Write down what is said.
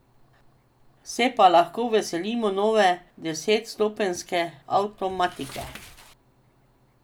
Se pa lahko veselimo nove desetstopenjske avtomatike.